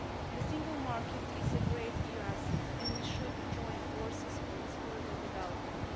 The Single Market is a great EU asset, and we should join forces for its further development.